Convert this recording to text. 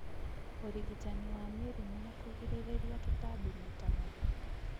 ũrigitani wa mĩrimũ na kũgirĩrĩria tũtambi maita maingĩ